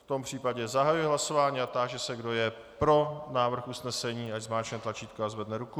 V tom případě zahajuji hlasování a táži se, kdo je pro návrh usnesení, ať zmáčkne tlačítko a zvedne ruku.